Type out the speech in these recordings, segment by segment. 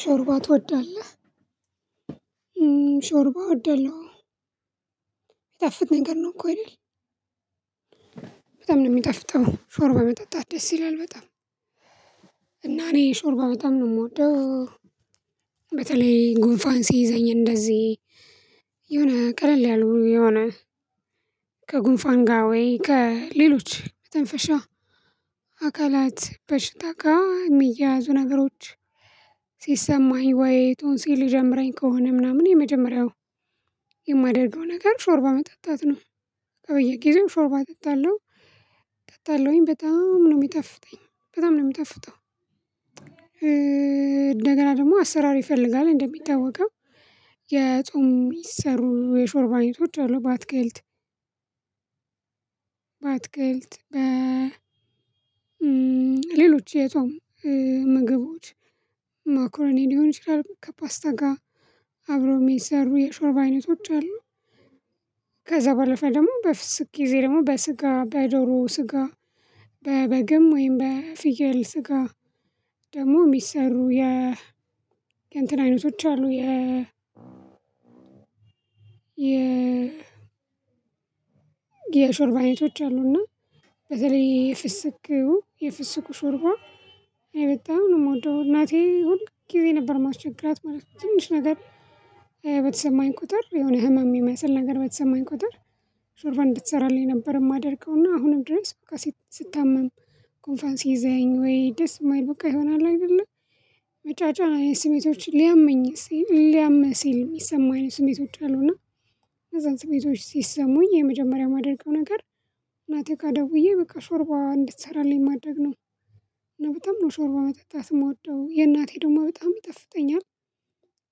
ሾርባ ትወዳለህ? ሾርባ ወዳለው አወ የሚጣፍጥ ነገር ነው እኮ አይደል። በጣም ነው የሚጣፍጠው ሾርባ መጠጣት ደስ ይላል በጣም። እና እኔ ሾርባ በጣም ነው የምወደው። በተለይ ጉንፋን ሲይዘኝ እንደዚህ የሆነ ቀለል ያሉ የሆነ ከጉንፋን ጋር ወይ ከሌሎች መተንፈሻ አካላት በሽታ ጋር የሚያያዙ ነገሮች። ሲሰማኝ ወይ ቶንሲል ሊጀምረኝ ከሆነ ምናምን የመጀመሪያው የማደርገው ነገር ሾርባ መጠጣት ነው። በየጊዜው ሾርባ አጠጣለሁ እጠጣለሁኝ በጣም ነው የሚጣፍጠኝ በጣም ነው የሚጠፍጠው። እንደገና ደግሞ አሰራር ይፈልጋል እንደሚታወቀው የጾም የሚሰሩ የሾርባ አይነቶች አሉ። በአትክልት በአትክልት በ ሌሎች የጾም ምግቦች ማኮረኒ ሊሆን ይችላል ከፓስታ ጋር አብረው የሚሰሩ የሾርብ አይነቶች አሉ። ከዛ ባለፈ ደግሞ በፍስክ ጊዜ ደግሞ በስጋ በዶሮ ስጋ በበግም ወይም በፍየል ስጋ ደግሞ የሚሰሩ የ የእንትን አይነቶች አሉ። የ የ የሾርባ አይነቶች አሉና። በተለይ የፍስኩ የፍስኩ ሾርባ እኔ በጣም ነው የምወደው። እናቴ ሁል ጊዜ ነበር ማስቸገራት ማለት ነው። ትንሽ ነገር በተሰማኝ ቁጥር የሆነ ህመም የሚመስል ነገር በተሰማኝ ቁጥር ሾርባ እንድትሰራልኝ ነበር የማደርገው እና አሁንም ድረስ። ስታመም ጉንፋን ሲይዘኝ ወይ ደስ የማይል በቃ የሆነ አለ አይደለ መጫጫን አይነት ስሜቶችን ሊያመኝ ሊያምህ ሲል የሚሰማህ ስሜቶች አሉና። ከዛ ስሜቶች ሲሰሙኝ የመጀመሪያ የማደርገው ነገር እናቴ ጋ ደውዬ በቃ ሾርባ እንድትሰራልኝ ማድረግ ነው። እና በጣም ነው ሾርባ መጠጣት የምወደው የእናቴ ደግሞ በጣም ይጣፍጠኛል።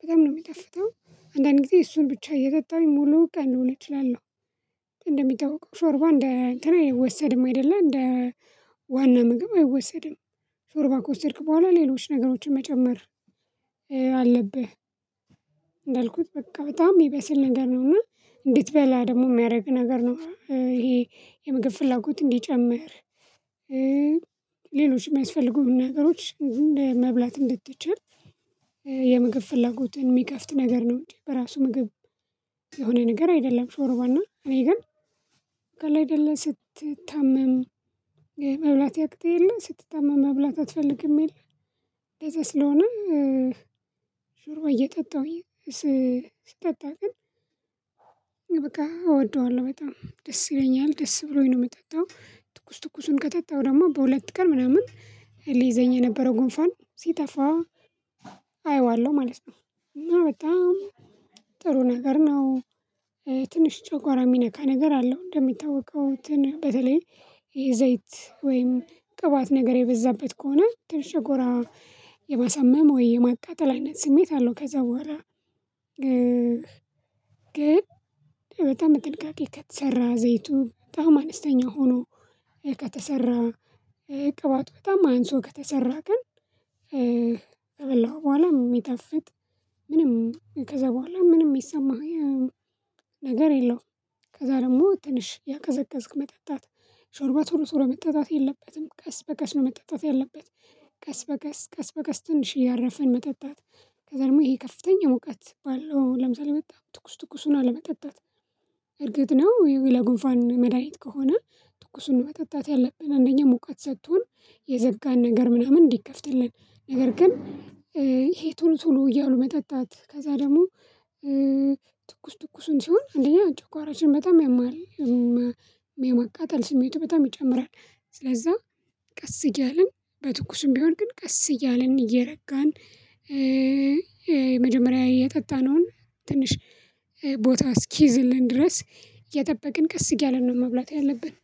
በጣም ነው የሚጣፍጠው አንዳንድ ጊዜ እሱን ብቻ እየጠጣሁኝ ሙሉ ቀን ልውል እችላለሁ። እንደሚጠታወሸው ሾርባ እንደ አንትን አይወሰድም አይደለ እንደ ዋና ምግብ አይወሰድም። ሾርባ ከወሰድክ በኋላ ሌሎች ነገሮችን መጨመር አለብህ። እንዳልኩት በቃ በጣም የሚበስል ነገር ነው እና እንድትበላ ደግሞ የሚያደርግ ነገር ነው። ይሄ የምግብ ፍላጎት እንዲጨምር ሌሎችም የሚያስፈልጉህን ነገሮች እንደ መብላት እንድትችል የምግብ ፍላጎትን የሚከፍት ነገር ነው እንጂ በራሱ ምግብ የሆነ ነገር አይደለም። ሾርባና እኔ ግን በቃ አለ አይደለ ስትታመም መብላት ያቅትህ የለ ስትታመም መብላት አትፈልግም የለም። እንደዛ ስለሆነ ሾርባ እየጠጣሁኝ ስጠጣ ግን በቃ እወደዋለሁ በጣም ደስ ይለኛል ደስ ብሎኝ ነው የምጠጣው ትኩስ ትኩሱን ከጠጣው ደግሞ በሁለት ቀን ምናምን ሊይዘኝ የነበረው ጉንፋን ሲጠፋ። አየዋለሁ ማለት ነው እና በጣም ጥሩ ነገር ነው። ትንሽ ጨጓራ የሚነካ ነገር አለው እንደሚታወቀው እንትን በተለይ የዘይት ወይም ቅባት ነገር የበዛበት ከሆነ ትንሽ ጨጓራ የማሳመም ወይ የማቃጠል አይነት ስሜት አለው። ከዛ በኋላ ግን በጣም በጥንቃቄ ከተሰራ ዘይቱ በጣም አነስተኛ ሆኖ ከተሰራ ቅባቱ በጣም አንሶ ከተሰራ ግን ከበላኸው በኋላም የሚጠፍጥ ምንም ከዛ በኋላ ምንም የሚሰማህ ነገር የለውም። ከዛ ደግሞ ትንሽ ያቀዘቀዝክ መጠጣት ሾርባ ቶሎ ቶሎ መጠጣት የለበትም ቀስ በቀስ ነው መጠጣት ያለበት። ቀስ በቀስ ቀስ በቀስ ትንሽ እያረፍን መጠጣት ከዛ ደግሞ ይሄ ከፍተኛ ሙቀት ባለው ለምሳሌ መጣ ትኩስ ትኩሱን አለመጠጣት። እርግጥ ነው ይሄ ለጉንፋን መድሃኒት ከሆነ ትኩሱን በጠጣት ያለብን አንደኛ ሙቀት ሰቶን የዘጋን ነገር ምናምን እንዲከፍትልን ነገር ግን። ይሄ ቶሎ ቶሎ እያሉ መጠጣት ከዛ ደግሞ ትኩስ ትኩሱን ሲሆን አንደኛ ጨጓራችን በጣም ያማል። የማቃጣል ስሜቱ በጣም ይጨምራል። ስለዛ ቀስ እያልን በትኩስም ቢሆን ግን ቀስ እያልን እየረጋን የመጀመሪያ የጠጣነውን ትንሽ ቦታ እስኪዝልን ድረስ የጠበቅን ቀስ እያልን ነው መብላት ያለብን።